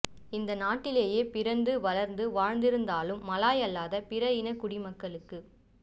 இந்த நாட்டிலேயே பிறந்து வளர்ந்து வாழ்ந்திருந்தாலும் மலாய் அல்லாத பிற இன குடிமக்களுக்கு